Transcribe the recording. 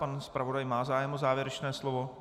Pan zpravodaj má zájem o závěrečné slovo?